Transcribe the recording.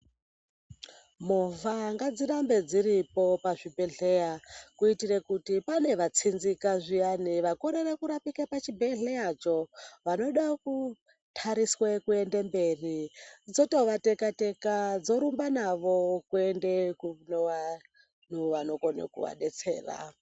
Movha ngadzirambe dziripo pazvibhedhlera, kuitire kuti pane vatsinzika zviyani, vakorere kurapika pachibhedhleracho vanoda kudariswe kuende mberi, dzotovateka-teka dzorumba navo kune vanokone kuvadetsera.